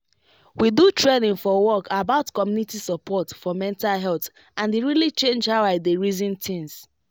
we do training for work about community support for mental health and e really change how i dey reason things